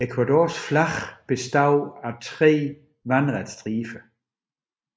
Ecuadors flag består af tre vandrette striber